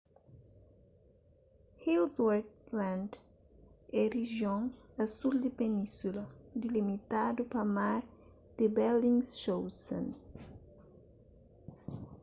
ellsworth land é rijion a sul di península dilimitadu pa mar di bellingshausen